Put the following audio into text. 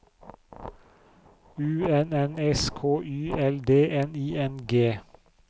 U N N S K Y L D N I N G